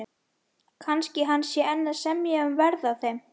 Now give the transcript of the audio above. Kannski hann sé enn að semja um verð á þeim.